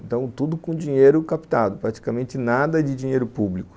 Então tudo com dinheiro captado, praticamente nada de dinheiro público.